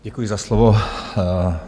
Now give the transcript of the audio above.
Děkuji za slovo.